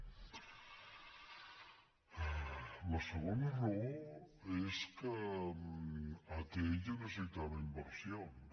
la segona raó és que atll necessitava inversions